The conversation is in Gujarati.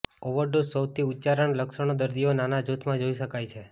ઓવરડોઝ સૌથી ઉચ્ચારણ લક્ષણો દર્દીઓ નાના જૂથમાં જોઇ શકાય છે